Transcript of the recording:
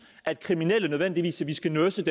at kriminelle nødvendigvis skal nurses